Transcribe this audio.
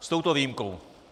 S touto výjimkou.